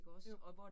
Jo